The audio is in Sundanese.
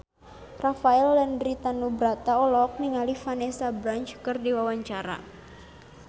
Rafael Landry Tanubrata olohok ningali Vanessa Branch keur diwawancara